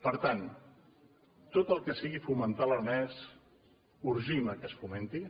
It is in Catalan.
per tant tot el que sigui fomentar l’aranès urgim que es fomenti